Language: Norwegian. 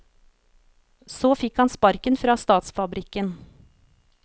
Så fikk han sparken fra statsfabrikken.